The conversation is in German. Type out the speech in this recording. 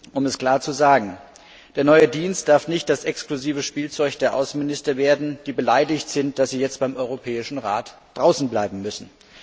Um es klar zu sagen Der neue Dienst darf nicht das exklusive Spielzeug der Außenminister werden, die beleidigt sind, dass sie jetzt beim Europäischen Rat draußen bleiben müssen.